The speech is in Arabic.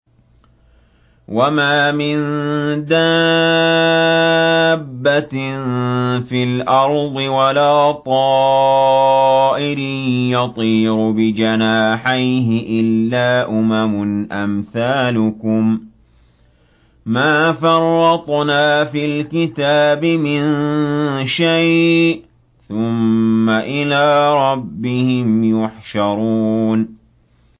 وَمَا مِن دَابَّةٍ فِي الْأَرْضِ وَلَا طَائِرٍ يَطِيرُ بِجَنَاحَيْهِ إِلَّا أُمَمٌ أَمْثَالُكُم ۚ مَّا فَرَّطْنَا فِي الْكِتَابِ مِن شَيْءٍ ۚ ثُمَّ إِلَىٰ رَبِّهِمْ يُحْشَرُونَ